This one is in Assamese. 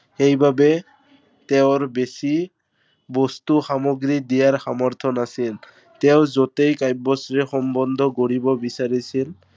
সেইবাবে, তেওঁৰ বেছি, বস্তু সামগ্ৰী দিয়াৰ সামৰ্থ নাছিল। তেওঁ য'তেই কাব্যশ্ৰীৰ সম্বন্ধ গঢ়িব বিচাৰিছিল